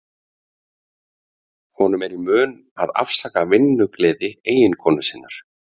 Honum er í mun að afsaka vinnugleði eiginkonu sinnar.